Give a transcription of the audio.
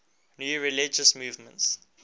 new religious movements